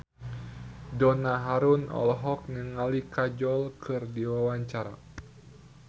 Donna Harun olohok ningali Kajol keur diwawancara